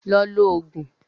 Lọ lo Ògùn!